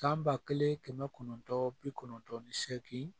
San ba kelen kɛmɛ kɔnɔntɔn bi kɔnɔntɔn ni seegin